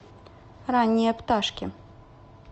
ранние пташки